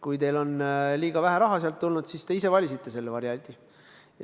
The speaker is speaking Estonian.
Kui teil on liiga vähe raha sealt sambast tulnud, siis te ise valisite selle variandi.